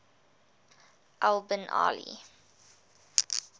al bin ali